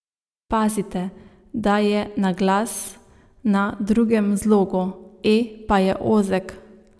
Pazite, da je naglas na drugem zlogu, e pa je ozek!